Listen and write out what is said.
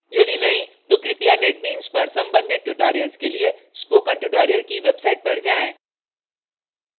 यदि नहीं तो कृपया netbeans पर संबंधित tutorials के लिए spoken tutorial की website पर जाएँ